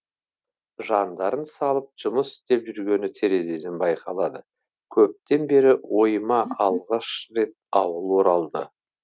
жандарын салып жұмыс істеп жүргені терезеден байқалады көптен бері ойыма алғаш рет ауыл оралды